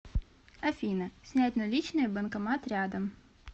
афина снять наличные банкомат рядом